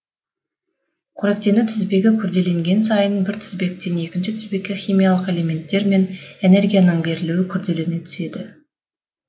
қоректену тізбегі күрделенген сайын бір тізбектен екінші тізбекке химиялық элементтер мен энергияның берілуі күрделене түседі